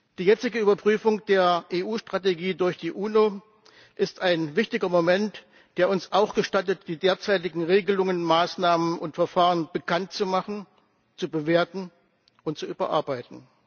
Die jetzige Überprüfung der EU Strategie durch die UNO ist ein wichtiger Moment, der uns auch gestattet, die derzeitigen Regelungen, Maßnahmen und Verfahren bekanntzumachen, zu bewerten und zu überarbeiten.